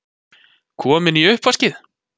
Komin í uppvaskið!